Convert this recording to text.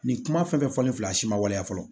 Nin kuma fɛn fɛn fɔlen filɛ a si ma waleya fɔlɔ